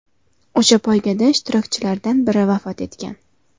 O‘sha poygada ishtirokchilardan biri vafot etgan.